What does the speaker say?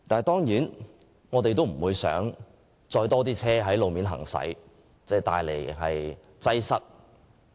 當然，我們不想看見有更多車輛在路面行駛，造成道路擠塞。